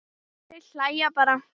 Þeir hlæja bara.